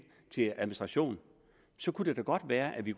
til administration kunne det da godt være at vi